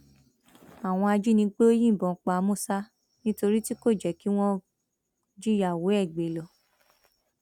àwọn ajínigbé yìnbọn pa musa nítorí tí kò jẹ kí wọn jíyàwó ẹ gbé lọ